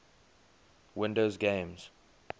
windows games